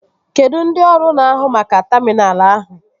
Kedụ ndị ọrụ na-ahu maka taminal ahụ?